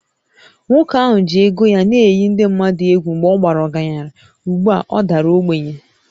Nwoke ahụ ji ego ya na-eyi ndị mmadụ egwu mgbe ọ bara ọgaranya, ugbu a ọ dara ogbenye